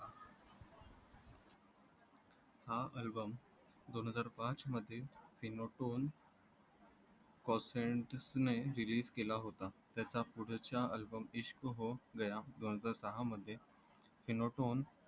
हा album दोन हजार पाच मध्ये Finetone cosentus ने release केला होता त्याचा पुढचा album इश्क हो गया दोन हजार साहा मध्ये Finetone